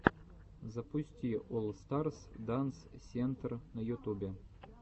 запусти олл старс данс сентр на ютубе